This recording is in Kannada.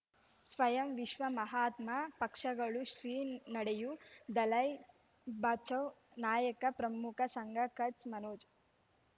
ಸ್ವಯಂ ವಿಶ್ವ ಮಹಾತ್ಮ ಪಕ್ಷಗಳು ಶ್ರೀ ನಡೆಯೂ ದಲೈ ಬಚೌ ನಾಯಕ ಪ್ರಮುಖ ಸಂಘ ಕಚ್ ಮನೋಜ್